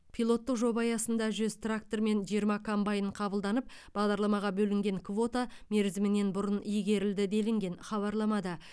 пилоттық жоба аясында жүз трактор мен жиырма комбайн қабылданып бағдарламаға бөлінген квота мерзімінен бұрын игерілді делінген хабарламада